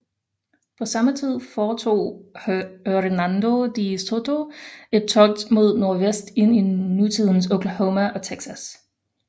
På samme tid foretog Hernando de Soto et togt mod nordvest ind i nutidens Oklahoma og Texas